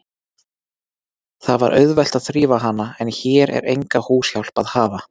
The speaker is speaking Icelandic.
Það var auðvelt að þrífa hana, en hér er enga húshjálp að hafa.